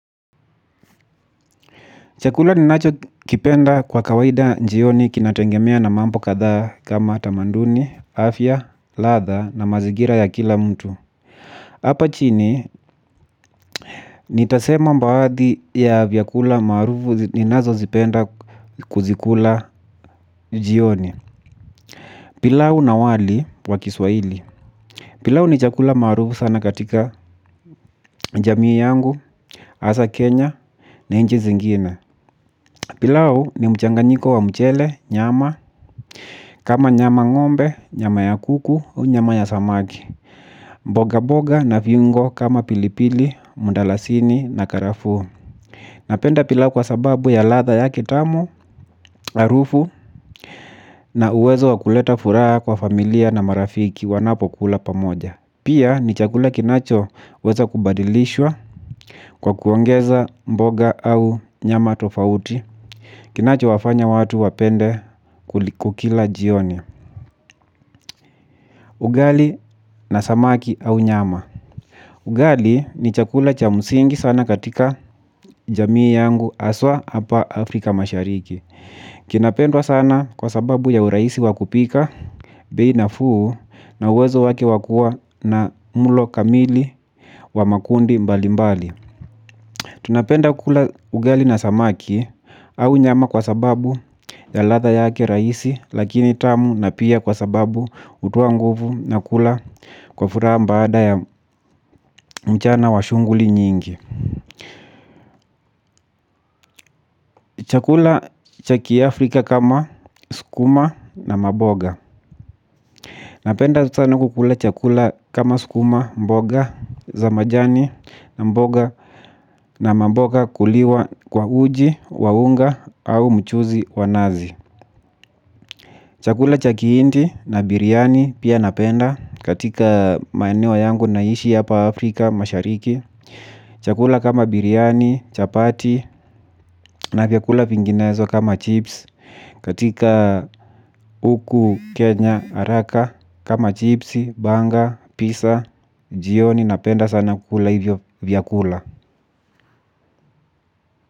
Chakula ninachokipenda kwa kawaida njioni kinatengemea na mambo kadhaa kama tamanduni, afya, ladha na mazigira ya kila mtu. Hapa chini nitasema mbaadhi ya vyakula maarufu ninazozipenda kuzikula njioni. Pilau na wali wa kiswaili. Pilau ni chakula maarufu sana katika jamii yangu Asa Kenya Na inchi zingine. Pilau ni mchanganyiko wa mchele, nyama. Kama nyama ngombe, nyama ya kuku, nyama ya samaki. Mboga boga na viungo kama pilipili, mundalasini na karafuu. Napenda pilau kwa sababu ya ladha yake tamu, arufu. Na uwezo wa kuleta furaha kwa familia na marafiki wanapokula pamoja. Pia ni chakula kinachoweza kubadilishwa kwa kuongeza mboga au nyama tofauti. Kinacho wafanya watu wapende kukila jioni. Ugali na samaki au nyama. Ugali ni chakula cha musingi sana katika jamii yangu aswa hapa Afrika mashariki. Kinapendwa sana kwa sababu ya uraisi wa kupika, bei nafuu na uwezo wake wa kuwa na mulo kamili wa makundi mbali mbali. Tunapenda kukula ugali na samaki au nyama kwa sababu ya ladha yake raisi lakini tamu na pia kwa sababu utoa nguvu na kula kwa furaha mbaada ya mchana wa shunguli nyingi. Chakula cha kiafrika kama sukuma na maboga. Napenda sana kukula chakula kama sukuma mboga za majani na mamboga kuliwa kwa uji wa unga au mchuzi wa nazi. Chakula cha kihindi na biryani pia napenda katika maeneo yangu naishi apa Afrika mashariki. Chakula kama biryani, chapati na vyakula vinginezo kama chips. Katika uku, kenya, araka kama chipsi, banga, pizza, jioni napenda sana kukula hivyo vyakula.